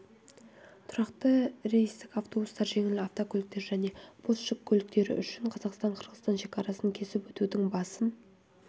тұрақты рейстік автобустар жеңіл автокөліктер және бос жүк көліктері үшін қазақстан-қырғызстан шекарасын кесіп өтудің басым